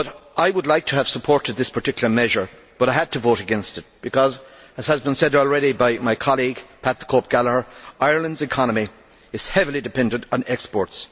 I would have liked to support this particular measure but I had to vote against because, as has been said already by my colleague, Pat the Cope Gallagher, Ireland's economy is heavily dependent on exports.